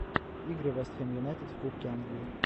игры вест хэм юнайтед в кубке англии